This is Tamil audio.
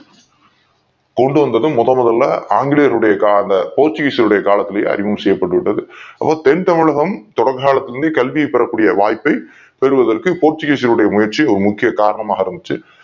கொண்டு வந்தது முதன் முதலில் ஆங்கிலேயருடைய கால போர்ச்சுகீசியர்கள்ளுடைய காலகட்டத்தில அறிமுகம் செய்யப்பட்டு விட்டது தென்தமிழகம் தொடக்க காலத்தில் இருந்தே கல்வியை பெறக்கூடிய வாய்ப்பு பெறுவதற்கு கோச்சிக்கீசியர்கள் உடைய முயற்சி ஒரு பெரும் காரணமாக இருந்தது